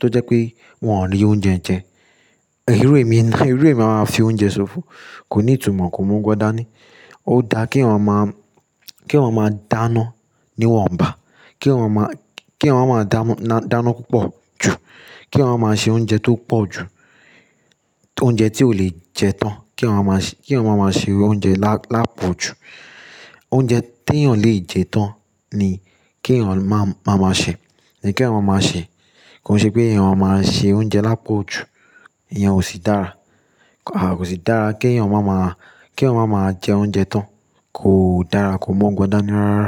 tó jẹ pé wọn ò rí oúnjẹ jẹ. Irú emi ni, èmi mi máa wa fi oúnjẹ ṣòfò kò ní ìtumọ̀, ko mu ọgbọ́n dání. Ó dáa kí èèyàn máa, kí èèyàn máa dáná ní wọ́n bá, kí èèyàn máa, kí èèyàn ma máa dáná púpọ̀ jù, kí èèyàn ma máa ṣe oúnjẹ tó pọ̀ jù. Oúnjẹ tí o lè jẹ tán kí èèyàn ma máa ṣe, kí èèyàn ma máa ṣe oúnjẹ lápọ̀jù. Oúnjẹ tí èèyàn lè jẹ tán ni kí èèyàn máa, máa ṣe ni kí èèyàn máa ṣe. Kò n ṣe pé èèyàn máa ṣe oúnjẹ lápọ̀jù. Ìyẹn ò sí dára. Àà kò sí dára kí èèyàn ma máa, kí èèyàn ma máa jẹ oúnjẹ tán. Kò dára, kò gbọdọ̀ dání rárá.